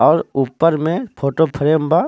और उपर में फोटो फ्रेम बा.